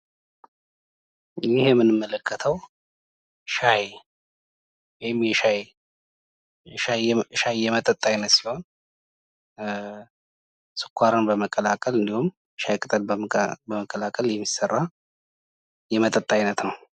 ይህ የምንመለከተዉ ሻይ ፥ ወይም የሻይ ፥ ሻይ የመጠጥ አይነት ሲሆን ፤ ስኳርን በመቀላቀል እንዲሁም ሻይ ቅጠልን በመቀላቀል የሚሰራ የመጠጥ አይነት ነው፡፡